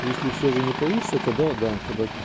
если все же не получится тогда да тогда